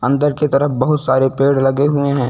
अंदर की तरफ बहुत सारे पेड़ लगे हुए हैं।